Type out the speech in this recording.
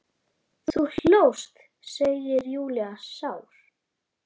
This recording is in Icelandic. Þú hlóst, segir Júlía sár.